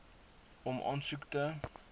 om aansoek te